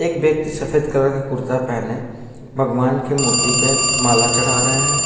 एक व्यक्ति सफेद कलर के कुर्ता पहने भगवान की मूर्ति पे माला चढ़ा रहे हैं।